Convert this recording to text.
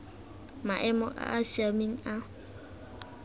maemo a a siameng a